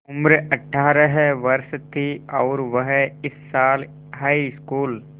उम्र अठ्ठारह वर्ष थी और वह इस साल हाईस्कूल